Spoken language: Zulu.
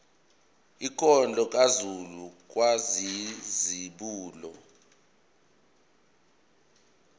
inkondlo kazulu kwakuyizibulo